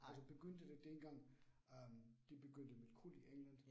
Altså begyndte det dengang øh de begyndte med krudt i England